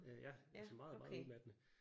Øh ja så meget meget udmattende